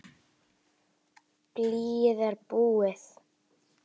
Blýið er búið.